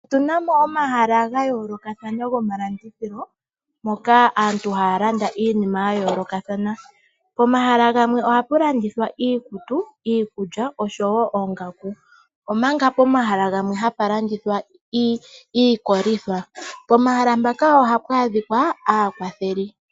Otunamo omahala gayoolokathana gomalandithilo moka aantu haya landa iinima yayoolokathana pomahala gamwe ohapu landithwa iikulya, iikutu osho woo ongaku omanga pomahala gamwe hapa landithwa iikolitha. Pomahala mpaka ohapa adhikwa aakwatheli.